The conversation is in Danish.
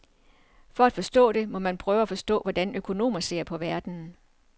For at forstå det, må man prøve at forstå hvordan økonomer ser på verden.